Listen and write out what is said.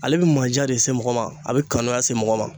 Ale bɛ manja de se mɔgɔ ma, a bɛ kanuya se mɔgɔ ma.